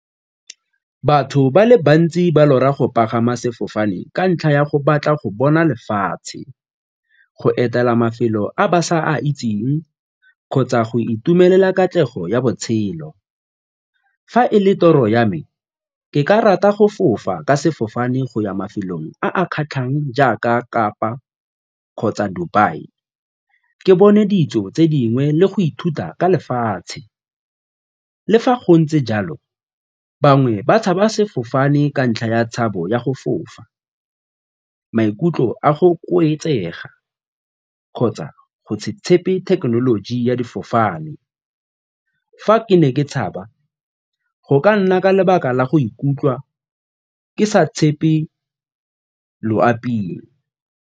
Batho ba le bantsi ba lora go pagama sefofane ka ntlha ya go batla go bona lefatshe, go etela mafelo a ba sa itseng kgotsa go itumelela katlego ya botshelo. Fa e le toro ya me, ke ka rata go fofa ka sefofane go ya mafelong a kgatlhang jaaka kapa kgotsa Dubai ke bone dijo tse dingwe le go ithuta ka lefatshe. Le fa go ntse jalo bangwe ba tshaba sefofane ka ntlha ya tshabo ya go fofa, maikutlo a go kgotsa go tshepe thekenoloji ya difofane. Fa ke ne ke tshaba go ka nna ka lebaka la go ikutlwa ke sa tshepe loaping.